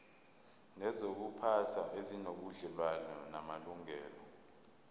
nezokuziphatha ezinobudlelwano namalungelo